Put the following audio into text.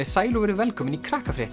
sæl og verið velkomin í